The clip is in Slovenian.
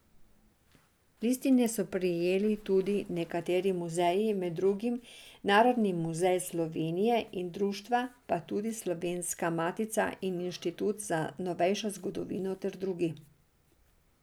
Listine so prejeli tudi nekateri muzeji, med drugim Narodni muzej Slovenije, in društva, pa tudi Slovenska matica in Inštitut za novejšo zgodovino ter drugi.